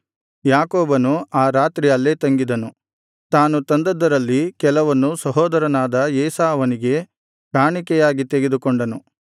ಯಾಕೋಬನು ಆ ರಾತ್ರಿ ಅಲ್ಲೇ ತಂಗಿದನು ತಾನು ತಂದದ್ದರಲ್ಲಿ ಕೆಲವನ್ನು ಸಹೋದರನಾದ ಏಸಾವನಿಗೆ ಕಾಣಿಕೆಯಾಗಿ ತೆಗೆದುಕೊಂಡನು